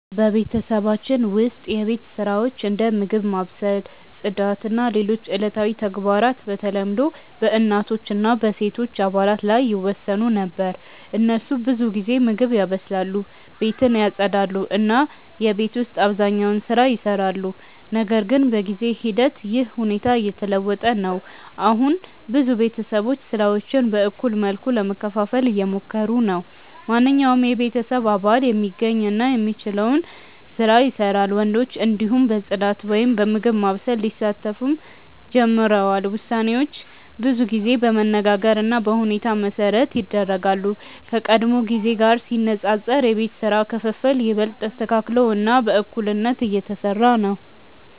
በቤተሰባችን ውስጥ የቤት ስራዎች እንደ ምግብ ማብሰል፣ ጽዳት እና ሌሎች ዕለታዊ ተግባራት በተለምዶ በእናቶች እና በሴቶች አባላት ላይ ይወሰኑ ነበር። እነሱ ብዙ ጊዜ ምግብ ያበስላሉ፣ ቤትን ያጽዳሉ እና የቤት ውስጥ አብዛኛውን ስራ ይሰራሉ። ነገር ግን በጊዜ ሂደት ይህ ሁኔታ እየተለወጠ ነው። አሁን ብዙ ቤተሰቦች ስራዎችን በእኩል መልኩ ለመከፋፈል እየሞከሩ ናቸው። ማንኛውም የቤተሰብ አባል የሚገኝ እና የሚችለውን ስራ ይሰራል፣ ወንዶችም እንዲሁ በጽዳት ወይም በምግብ ማብሰል ሊሳተፉ ጀምረዋል። ውሳኔዎች ብዙ ጊዜ በመነጋገር እና በሁኔታ መሠረት ይደረጋሉ፣ ከቀድሞ ጊዜ ጋር ሲነጻጸር የቤት ስራ ክፍፍል ይበልጥ ተስተካክሎ እና በእኩልነት እየተሰራ ነው።